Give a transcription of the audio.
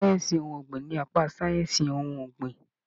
Ìmọ sáyẹnsì ohùn ọgbin ní apá sáyẹnsì ohùn ọgbin.